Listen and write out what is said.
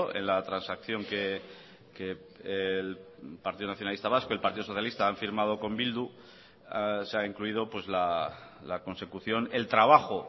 en la transacción que el partido nacionalista vasco el partido socialista han firmado con bildu se ha incluido la consecución el trabajo